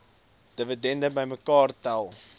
dividende bymekaar tel